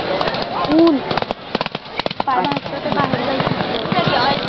ऊन. असतं तर बाहेर जायची इच्छा होत नाही आहे.